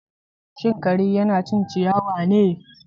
Shin kare yana cin ciyawa ne?